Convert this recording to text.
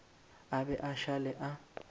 a be a šale a